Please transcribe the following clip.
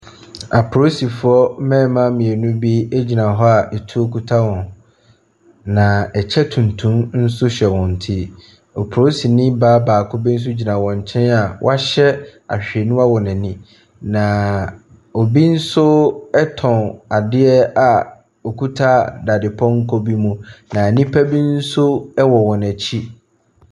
Apolisifoɔ mmarima mmienu bi gyina hɔ a etuo kuta wɔn, na kyɛ tuntum nso hyɛ wɔn ti. Polisini baa baako bi nso gyina wɔn nkyɛn a wahyɛ ahwehwɛniwa wɔ n'ani, na obi nso tɔn adeɛ a ɔkuta dadepɔnkɔ bi mu, na nnipa bi nso wɔ wɔn akyi.